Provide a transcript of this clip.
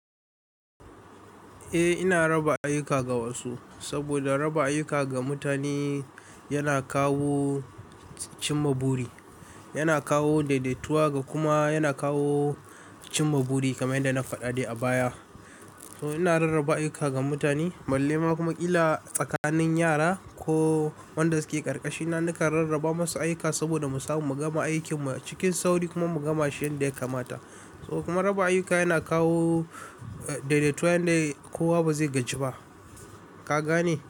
Eh ina raba ayuka ga wasu, saboda raba ayuka ga mutane yana kawo cimma buri, yana kawo daidaituwa ga kuma yana kawo cimma buri kamar yadda na faɗa dai a baya. To ina rarraba ayuka ga mutane, balle ma kuma ila tsakanin yara ko wanda suke ƙarƙashina nakan rarraba masu ayuka saboda mu samu mu gama aikin mu cikin sauri kuma mu gama shi yanda ya kamata. Kuma raba ayuka yana kawo daidaituwan da kowa ba zai gaji ba, ka gane?